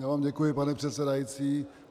Já vám děkuji, pane předsedající.